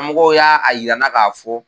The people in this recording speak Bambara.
Mɔgɔ y'a a yira n na k'a fɔ